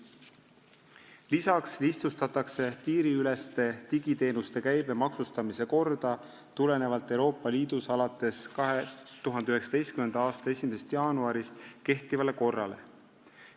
Lisaks lihtsustatakse piiriüleste digiteenuste käibemaksustamise korda Euroopa Liidus alates 2019. aasta 1. jaanuarist kehtiva korra kohaselt.